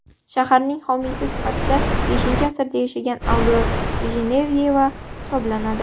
Shaharning homiysi sifatida V asrda yashagan Avliyo Jenevyeva hisoblanadi.